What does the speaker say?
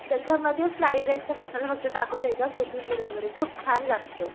त्याच्यामध्ये फ्राईड राईसचा मसाला मग ते टाकून द्यायचा मध्ये खूप छान लागतो